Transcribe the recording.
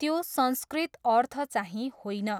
त्यो संस्कृत अर्थचाहिँ होइन।